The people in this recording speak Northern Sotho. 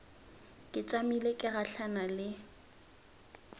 ke tšamile ke gahlana le